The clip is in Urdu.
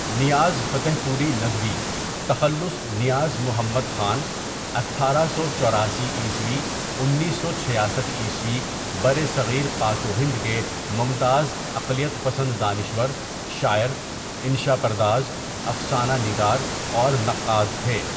نیاز فتح پوری ندوی تخلص نیاز محمد خان، اٹھارہ سو چوراسی عیسوی انیس سو چھیاسٹھ عیسوی برصغیر پاک و ہند کے ممتاز عقلیت پسند دانشور، شاعر، انشا پرداز، افسانہ نگار اور نقاد تھے.